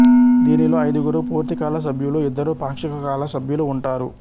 దీనిలో ఐదుగురు పూర్తికాల సభ్యులు ఇద్దరు పాక్షిక కాల సభ్యులు ఉంటారు